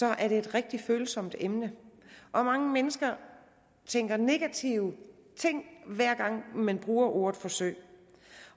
er det et rigtig følsomt emne mange mennesker tænker negative ting hver gang man bruger ordet forsøg